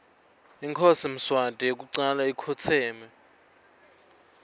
inkhosi mswati yekucala ikhotseme